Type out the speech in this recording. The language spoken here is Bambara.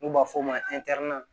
N'u b'a f'o ma